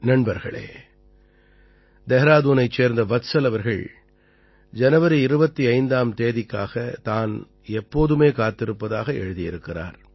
நண்பர்களே தெஹ்ராதூனைச் சேர்ந்த வத்சல் அவர்கள் ஜனவரி 25ஆம் தேதிக்காகத் தான் எப்போதுமே காத்திருப்பதாக எழுதியிருக்கிறார்